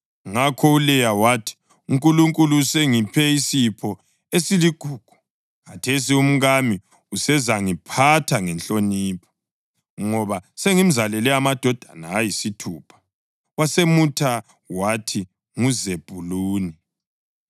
Ngakho uLeya wathi, “UNkulunkulu usengiphe isipho esiligugu. Khathesi umkami usezangiphatha ngenhlonipho, ngoba sengimzalele amadodana ayisithupha.” Wasemutha wathi nguZebhuluni.